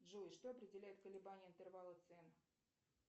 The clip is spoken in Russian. джой что определяет колебание интервала цен